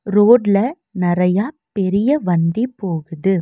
ரோட்ல நெறயா பெரிய வண்டி போகுது.